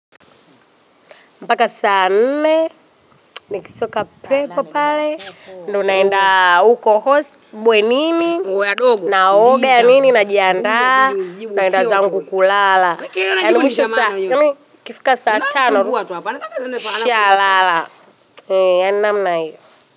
Mpaka saa nne, nikisoka prepo pale. Ndio naenda huko hosu, mbuwe nini, naoga ya nini, najiandraa, naenda zangu kulala. Ndona mwisho saa, yami kifika saa tano, nishalala. Ndona mna iyo.